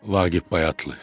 Vaqif Bayatlı.